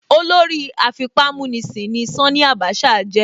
Olórí afipámúnisìn ni Ṣání Àbáṣà jẹ́.